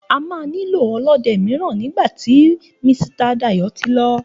A máà nílò ọlọ́de míràn nígbàtí Misita Dayò tí lọ